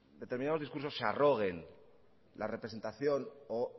determinados discursos se arroguen la representación o